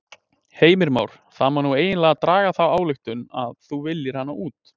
Heimir Már: Það má nú eiginlega draga þá ályktun að þú viljir hana út?